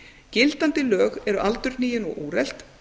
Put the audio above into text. gildandi lög eru aldurhnigin og úrelt